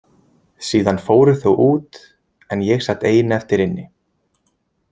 Síðan fóru þau út en ég sat ein eftir inni.